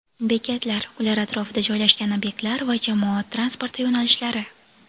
bekatlar (ular atrofida joylashgan obyektlar va jamoat transporti yo‘nalishlari);.